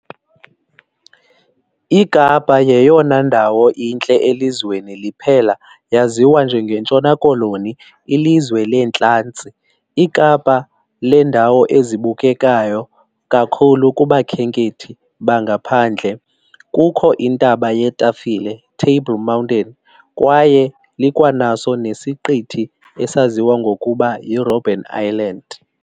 iKapa yeyona ndawo intle elizweni liphela yaziwa njenge ntshona-koloni ilizwe lentlantsi, ikapaa lendawo ezibukekayo kakhulu kubakhenkethi bangaphandle kukho iNtaba yeTafile, Table Mountain, kwaye likwanaso nesiqithi esaziwa ngokuba yi-Robben Island.